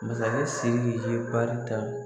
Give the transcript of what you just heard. Masakɛ Siriki ye bari ta